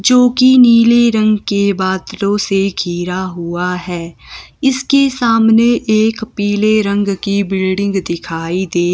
जो कि नीले रंग के बादलों से घीरा हुआ है इसके सामने एक पीले रंग की बिल्डिंग दिखाई दे--